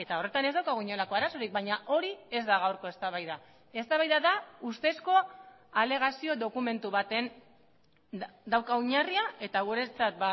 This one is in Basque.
horretan ez daukagu inolako arazorik baina hori ez da gaurko eztabaida eztabaida da ustezko alegazio dokumentu baten dauka oinarria eta guretzat